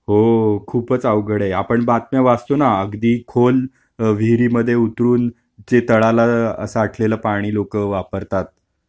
हो खूपच अवघड आहे आपण बातम्या वाचतो ना अगदी खोल... अरे विहिरी मध्ये उतरून ते तळला साठलेल पाणी ते लोक वापरतात.